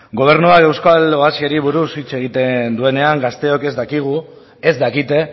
gobernuak euskal oasiari buruz hitz egiten duenean gazteok ez dakigu ez dakite